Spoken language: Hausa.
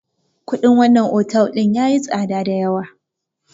Kuɗin wannan otal ɗin yayi tsada dayawa.